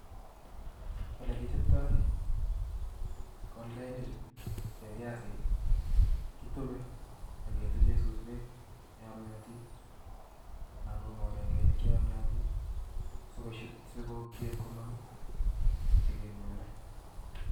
Olekichoptoi kolkeinichu chueb biasi kitube ak ketuchen suswek cheyomnyotin anan ko moreng'enik cheyomnyotin sikobiit komong chekekole.